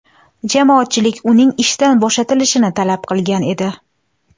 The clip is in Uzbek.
Jamoatchilik uning ishdan bo‘shatilishini talab qilgan edi .